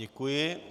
Děkuji.